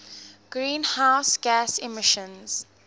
greenhouse gas emissions